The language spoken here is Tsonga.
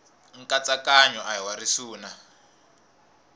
nkatsakanyo a hi wa risuna